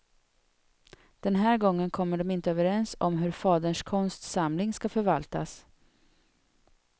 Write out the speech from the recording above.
Den här gången kommer de inte överens om hur faderns konstsamling ska förvaltas.